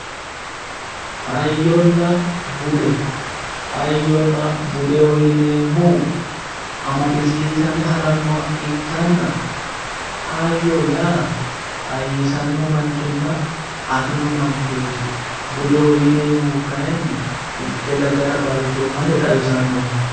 Hayyonna bude, hayyonna budeho yinneemmohu amadisiisame harannoha ikkanna ,hayyo yaa hayyisanno manchootinna afino manchooti, budeho yinneemmohu kayinni mitte dagara balchoomase xawisannoho